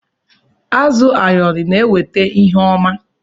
Azụ ayọrọ na eweta ihe ọma.